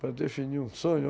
para definir um sonho.